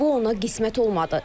Bu ona qismət olmadı.